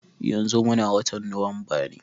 Yanzu muna watan Nuwamba ne.